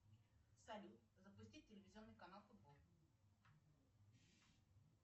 салют запустить телевизионный канал футбол